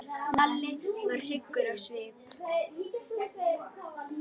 Lalli varð hryggur á svip.